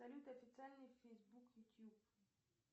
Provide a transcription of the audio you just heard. салют официальный фейсбук ютуб